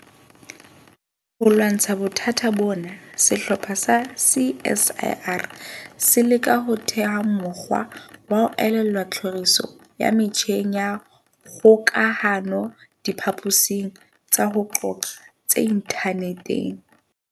Ho lwantsha bothata bona, sehlopha sa CSIR se leka ho theha mokgwa wa ho elellwa tlhoriso ya metjheng ya kgokahanodiphaposing tsa ho qoqa tse inthaneteng.